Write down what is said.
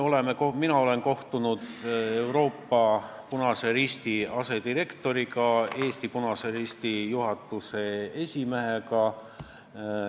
Mina olen kohtunud Punase Risti Euroopa regiooni asedirektoriga, Eesti Punase Risti juhatuse esimehega.